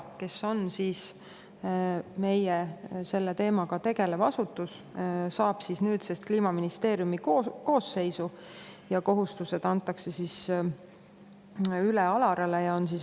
kes on meil selle teemaga tegelev asutus, läheb nüüdsest Kliimaministeeriumi koosseisu ja teatud kohustused antakse üle ALARA-le.